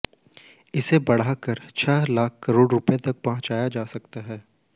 इसे बढ़ाकर छह लाख करोड़ रुपये पर पहुंचाया जा सकता है